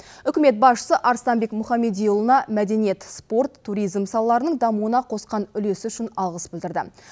үкімет басшысы арыстанбек мұхамедиұлына мәдениет спорт туризм салаларының дамуына қосқан үлесі үшін алғыс білдірді